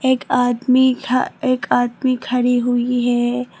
एक आदमी था एक आदमी खड़ी हुई है।